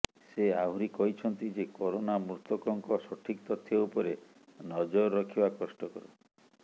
ସେ ଆହୁରି କହିଛନ୍ତି ଯେ କରୋନା ମୃତକଙ୍କ ସଠିକ ତଥ୍ୟ ଉପରେ ନଜର ରଖିବା କ ୍ଟକର